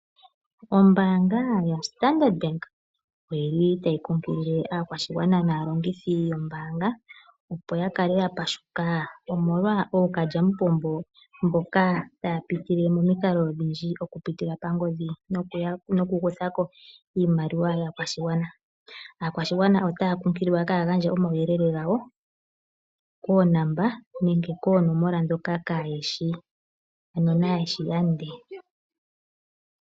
Ombaanga yoStandard Bank oyi li tayi kunkilile aakwashigwana naalongithi yombaanga, opo yakale yatonata omolwa ookalyamupombo mboka taya pitile momikalo odhindji okupitila pangodhi nokukuthako iimaliwa yaashigwana . Aakwashigwana otaya kunkililwa kaaya gandje omauyelele gawo koonomola ndhoka kaayeshi lande.